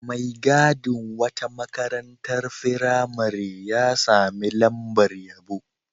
Mai gadin wata makarantar firamare ya sami lamabr yabo.